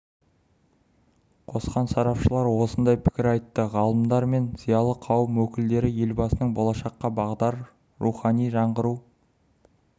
қосқан сарапшылар осындай пікір айтты ғалымдар мен зиялы қауым өкілдері елбасының болашаққа бағдар рухани жаңғыру